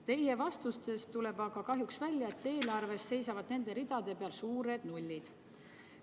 Teie vastustest tuleb aga kahjuks välja, et eelarves seisavad nende ridade peal suured nullid.